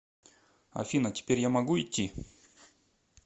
афина теперь я могу идти